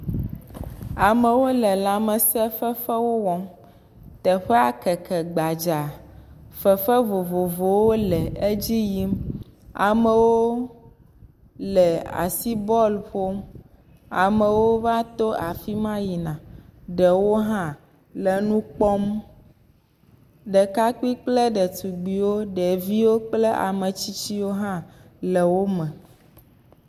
Amewo le lamese fefewo wɔm. teƒea keke gbadza. Fefe vovovowo le edzi yim. Amewo le asi bɔlu ƒom. Amewo va to afi ma va yina. Ɖewo hã le nu kpɔm. Ɖekapui kple ɖetugbiwo, ɖeviwo kple ame tsitsiwo hã le wo me.